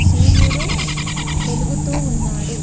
సూర్యుడు వెలుగుతూ ఉన్నాడు.